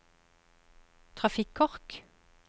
trafikkork